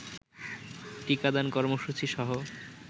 টিকাদান কর্মসূচীসহ